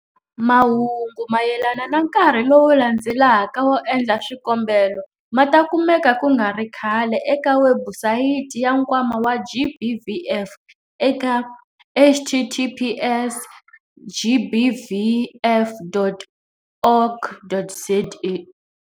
Mahungu mayelana na nkarhi lowu landzelaka wo endla swikombelo ma ta kumeka ku nga ri khale eka webusayiti ya Nkwama wa GBVF eka- https- gbvf.org.za.